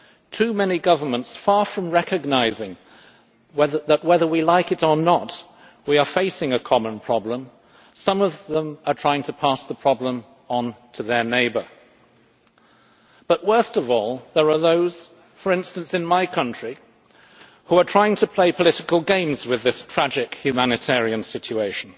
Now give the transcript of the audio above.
Too many governments, far from recognising that, whether we like it or not, we are facing a common problem, are trying to pass the problem on to their neighbour. But, worst of all, there are those for instance in my country who are trying to play political games with this tragic humanitarian situation.